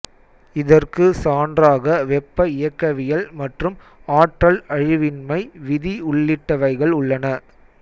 இதற்கு சான்றாக வெப்ப இயக்கவியல் மற்றும் ஆற்றல் அழிவின்மை விதி உள்ளிட்டவைகள் உள்ளன